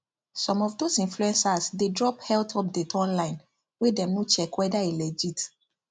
some of those influencers dey drop health update online wey dem no check whether e legit